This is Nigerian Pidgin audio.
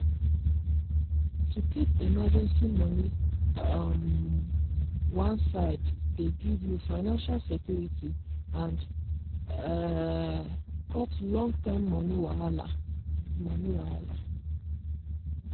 to keep emergency money um one side dey give you financial security and um cut long-term money wahala. money wahala.